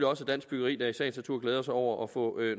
også af dansk byggeri der i sagens natur glæder sig over at få